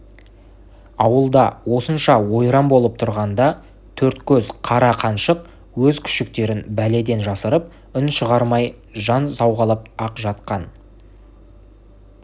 ауылда осынша ойран болып тұрғанда төрткөз қара қаншық өз күшіктерін бәледен жасырып үн шығармай жан сауғалап-ақ жатқан